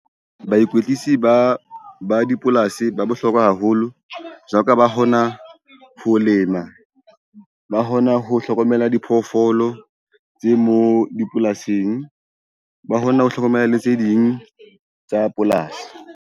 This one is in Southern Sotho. Baikwetlisi ba ba dipolasi ba bohlokwa haholo jwalo ka ba hona ho lema. Ba hona ho hlokomela diphoofolo tse mo dipolasing, ba hona ho hlokomela le tse ding tsa polasi.